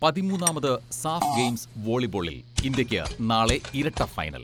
പതിമൂന്നാമത് SAF games വോളിബോളിൽ ഇന്ത്യക്ക് നാളെ ഇരട്ട ഫൈനൽ.